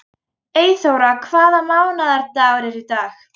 Eyþóra, hvaða mánaðardagur er í dag?